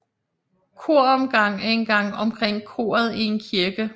Koromgang er en gang omkring koret i en kirke